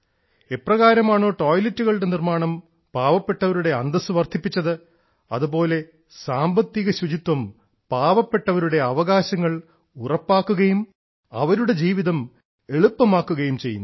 എപ്രകാരമാണ് ടോയ്ലറ്റുകളുടെ നിർമ്മാണം പാവപ്പെട്ടവരുടെ അന്തസ്സ് വർധിപ്പിച്ചത് അതുപോലെ സാമ്പത്തിക ശുചിത്വം പാവപ്പെട്ടവരുടെ അവകാശങ്ങൾ ഉറപ്പാക്കുകയും അവരുടെ ജീവിതം എളുപ്പമാക്കുകയും ചെയ്യുന്നു